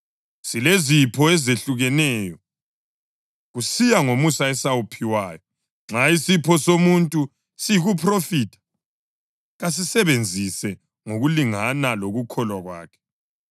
Silezipho ezehlukeneyo, kusiya ngomusa esawuphiwayo. Nxa isipho somuntu siyikuphrofitha, kasisebenzise ngokulingana lokukholwa kwakhe.